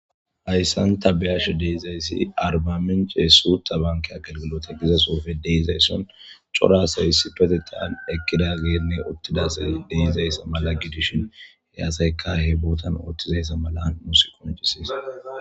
hayssan tabeyash deizayssi arbaminceesu tabankea gelgilota giza soofe deizaysson corasayssi petettaan ekkida geenne uttidasay deeizayssa mala gidishin heyaasaykahe bootan ooththizayssa mala musi qoncisiis